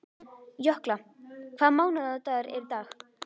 Jökla, hvaða mánaðardagur er í dag?